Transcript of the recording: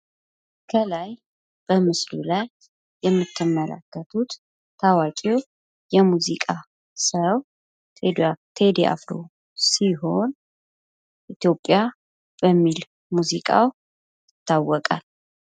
ከላይ በምስሉ ላይ የምትመለከቱት ታዋቂው የሙዚቃ ሰው ቴዲአፍሮ ሲሆን ኢትዮጵያ በሚል ሙዚቃው ይታወቃል።